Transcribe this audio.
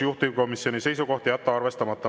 Juhtivkomisjoni seisukoht on jätta arvestamata.